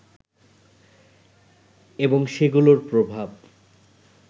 এবং সেগুলোর প্রভাব